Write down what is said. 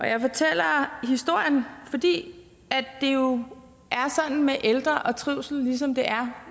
jeg fortæller historien fordi det jo er med ældre og trivsel ligesom det er